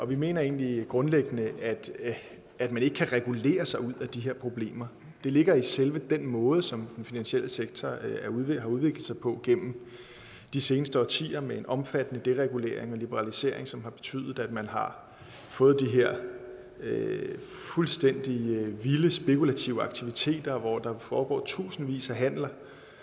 vi mener egentlig grundlæggende at man ikke kan regulere sig ud af de her problemer det ligger i selve den måde som den finansielle sektor er ved at have udviklet sig på gennem de seneste årtier med en omfattende deregulering og liberalisering som har betydet at man har fået de her fuldstændig vilde spekulative aktiviteter hvor der foregår tusindvis af handler